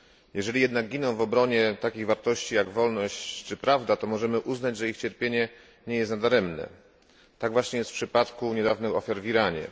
Jeżeli jednak giną w obronie takich wartości, jak wolność czy prawda, to możemy uznać, że ich cierpienie nie jest nadaremne tak właśnie jest w przypadku niedawnych ofiar w Iranie.